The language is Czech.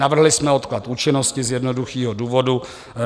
Navrhli jsme odklad účinnosti z jednoduchého důvodu.